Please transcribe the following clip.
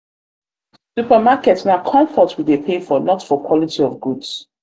supermarket na comfort we dey pay for not for quality of goods.